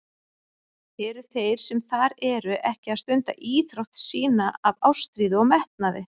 Eru þeir sem þar eru ekki að stunda íþrótt sína af ástríðu og metnaði?